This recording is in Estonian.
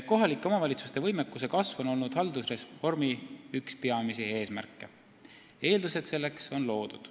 " Kohalike omavalitsuste võimekuse kasv on olnud haldusreformi üks peamisi eesmärke ja selleks on eeldused loodud.